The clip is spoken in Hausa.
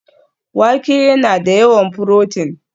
Wake yana da yawan furotin